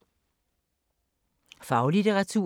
Faglitteratur